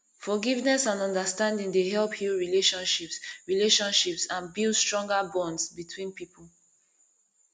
forgiveness and understanding dey help heal relationships relationships and build stronger bonds between people